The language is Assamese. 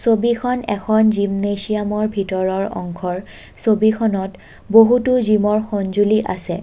ছবিখন এখন জীমনেছিয়ামৰ ভিতৰৰ অংশৰ ছবিখনত বহুতো জিমৰ সংজুলি আছে।